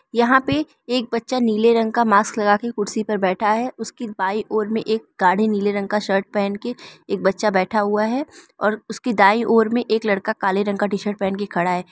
यहां पे एक बच्चा नीले रंग का मास्क लगा के कुर्सी पर बैठा है उसकी बाई ओर में एक गाढ़े नीले रंग का शर्ट पहन के एक बच्चा बैठा हुआ है और उसकी दाईं ओर में एक लड़का काले रंग का टी शर्ट पहन के खड़ा है।